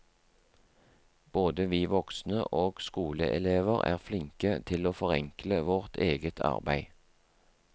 Både vi voksne og skoleelever er flinke til å forenkle vårt eget arbeid.